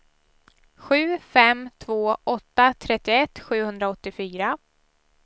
sju fem två åtta trettioett sjuhundraåttiofyra